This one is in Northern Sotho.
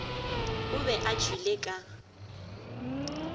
o be a tšwele ka